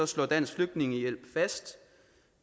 slår dansk flygtningehjælp fast